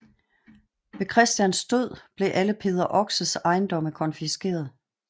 Ved Christians død blev alle Peder Oxes ejendomme konfiskeret